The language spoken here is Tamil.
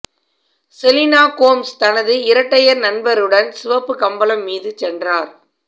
செலினா கோம்ஸ் தனது இரட்டையர் நண்பருடன் சிவப்பு கம்பளம் மீது சென்றார்